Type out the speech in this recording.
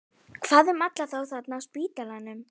Hvað um alla þá þarna á spítalanum?